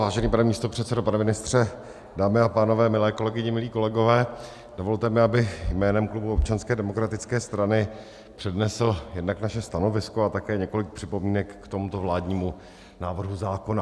Vážený pane místopředsedo, pane ministře, dámy a pánové, milé kolegyně, milí kolegové, dovolte mi, abych jménem klubu Občanské demokratické strany přednesl jednak naše stanovisko a také několik připomínek k tomuto vládnímu návrhu zákona.